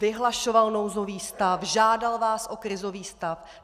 Vyhlašoval nouzový stav, žádal vás o krizový stav.